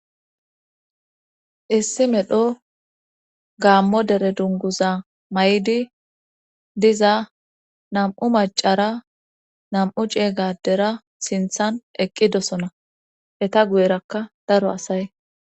Issi medho gaammo dere dunguza may7di diza nam7u macara nam7u cie gadera sinthan eqqidosona eta guyerakka daro asaye.